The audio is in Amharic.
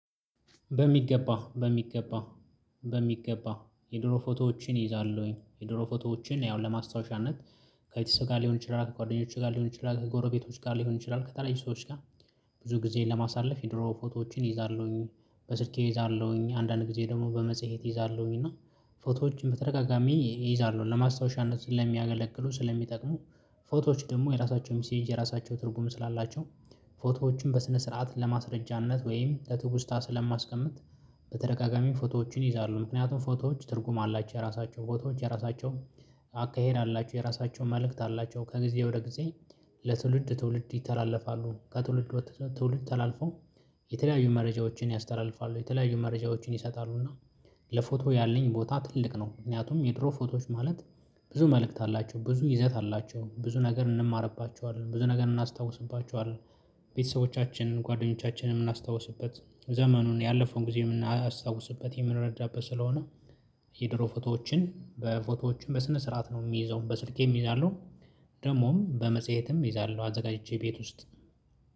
በሚገባ በሚገባ በሚገባ የድሮ ፎቶዎችን እይዛለሁኝ የድሮ ፎቶዎችን ያው ለማስታወሻነት ከቤተሰብ ጋር ሊሆን ይችላል ከጓደኞቼ ጋር ሊሆን ይችላል ከጎረቤቶች ጋር ሊሆን ይችላል ከተለየ ሰዎች ጋር። ብዙ ጊዜን ለማሳለፍ የድሮ ፎቶዎችን እይዛለሁኝ። በስልኬ እይዛለሁኝ አንዳንድ ጊዜ ደግሞ በመጽሄት እይዛለሁኝ። እና ፎቶዎችን በተደጋጋሚ እይዛለሁ ለማስታወሻነት ስለሚያገለግሉ ስለሚጠቅሙ ፎቶዎች ደግሞ የራሳቸው ሚሴጅ የራሳቸው ትርጉም ስላላቸው። ፎቶዎችን በስነ ስርዓት ለማስረጃነት ወይም ለትውስታ ስለማስቀምጥ። በተደጋጋሚ ፎቶዎችን እይዛለሁ ምክንያቱም ፎቶዎች ትርጉም አላቸው የራሳቸው ፎቶዎች የራሳቸው። አካሄድ አላቸው የራሳቸውን መልእክት አላቸው ከጊዜ ወደ ጊዜ። ለትውልድ ትውልድ ይተላለፋሉ ከትውልድ ትውልድ ተላልፈው። የተለያዩ መረጃዎችን ያስተላልፋሉ የተለያዩ መረጃዎችን ይሰጣሉና። ለፎቶ ያለኝ ቦታ ትልቅ ነው። ምክንያቱም የድሮ ፎቶዎች ማለት ብዙ መልእክት አላቸው ብዙ ይዘት አላቸው ብዙ ነገር እንማርባቸዋለን ብዙ ነገር እናስታውስባቸዋለን። ቤተሰቦቻችንን ጓደኞቻችንን የምናስታውስበት ዘመኑን ያለፈውን ጊዜ የምናስታውስበት የምንረዳበት ስለሆነ። የድሮ ፎቶዎችን በፎቶዎችን በስነ ስርዓት ነው የምይዘው በስልኬም እይዛለሁ። ደግሞም በመጽሄትም እይዛለሁ አዘጋጅቼ ቤት ውስጥ